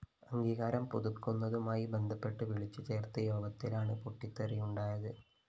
അംഗീകാരം പുതുക്കുന്നതുമായി ബന്ധപ്പെട്ട് വിളിച്ചു ചേര്‍ത്ത യോഗത്തിലാണ് പൊട്ടിത്തെറിയുണ്ടായത്